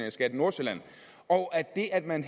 i skat nordsjælland og at det at man